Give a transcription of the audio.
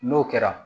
N'o kɛra